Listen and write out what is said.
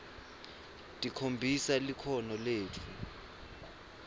tikhombisa likhono letfu